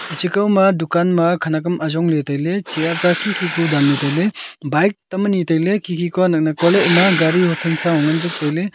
echikau ma dukan ma khanak am ajong ley tailey chair ta khikhi ku danley tanley bike tam ani tailey khikhi ka naknak kua ley. ema gari hothan sa hu nganjuk tailey.